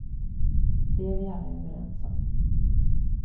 Det är vi alla överens om.